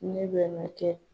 Ne bɛna kɛ